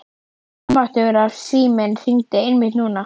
Almáttugur ef síminn hringdi einmitt núna.